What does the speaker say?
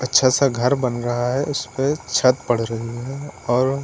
अच्छा सा घर बन रहा है उस पर छत पड़ रही है और--